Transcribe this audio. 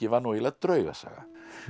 var nú eiginlega draugasaga